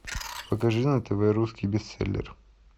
покажи на тв русский бестселлер